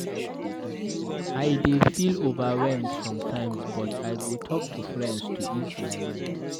I dey feel overwhelmed sometimes, but I go talk to friends to ease my mind.